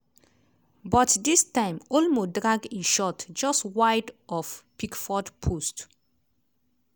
but dis time olmo drag e shot just wide of pickford post.